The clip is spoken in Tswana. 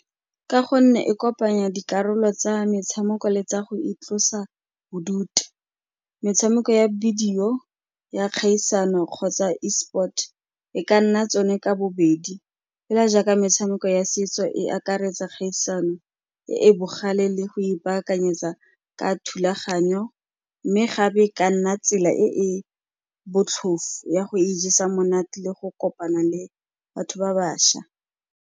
Ka gonne e kopanya dikarolo tsa metshameko le tsa go itlosa bodutu, metshameko ya bidio ya kgaisano kgotsa e-sport-e, e ka nna tsone ka bobedi, fela jaaka metshameko ya setso e akaretsa kgaisano e e bogale le go ipaakanyetsa ka thulaganyo, mme gape e ka nna tsela e e botlhofo ya go ijesa monate le go kopana le batho ba baša.